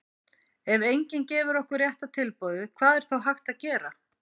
ef enginn gefur okkur rétta tilboðið hvað er þá hægt að gera?